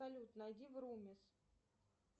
салют найди врумис